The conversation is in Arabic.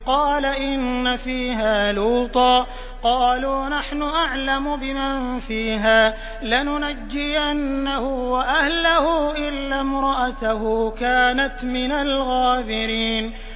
قَالَ إِنَّ فِيهَا لُوطًا ۚ قَالُوا نَحْنُ أَعْلَمُ بِمَن فِيهَا ۖ لَنُنَجِّيَنَّهُ وَأَهْلَهُ إِلَّا امْرَأَتَهُ كَانَتْ مِنَ الْغَابِرِينَ